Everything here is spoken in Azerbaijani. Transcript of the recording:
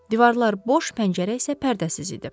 Divarlar boş, pəncərə isə pərdəsiz idi.